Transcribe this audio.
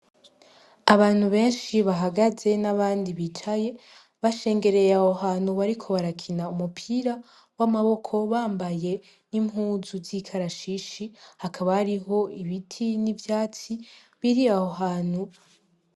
Abantu benshi bahagaze n'abandi bicaye bashengereye aho hantu bariko barakina umupira w'amaboko bambaye n'impuzu z'ikarashishi, hakaba hariho ibiti n'ivyatsi biri aho hantu.